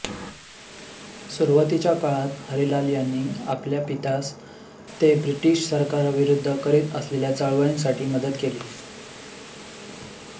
सुरूवातीच्या काळात हरिलाल यांनी आपल्या पित्यास ते ब्रिटिश सरकारविरुद्ध करीत असलेल्या चळवळींसाठी मदत केली